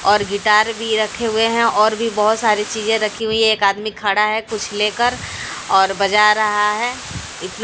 और गिटार भी रखे हुए हैं और भी बहोत सारी चीजे रखी हुई एक आदमी खड़ा है कुछ लेकर और बजा रहा है।